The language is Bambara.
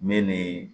Ne ni